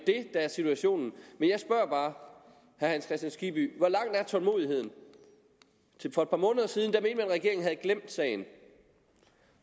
der er situationen men jeg spørger bare herre hans kristian skibby hvor lang er tålmodigheden for et par måneder siden at regeringen havde glemt sagen